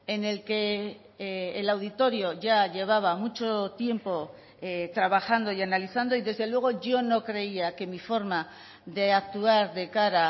en el que el auditorio ya llevaba mucho tiempo trabajando y analizando y desde luego yo no creía que mi forma de actuar de cara